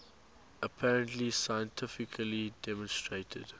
apparently scientifically demonstrated